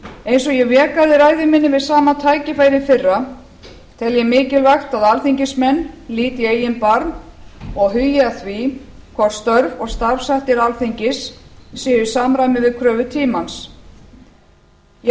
eins og ég vék að í ræðu minni við sama tækifæri í fyrra tel ég mikilvægt að alþingismenn líti í eigin barm og hugi að því hvort störf og starfshættir alþingis séu í samræmi við kröfur tímans ég